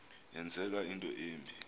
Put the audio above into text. yenzeka into embi